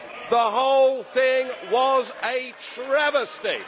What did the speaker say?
The whole thing was a travesty!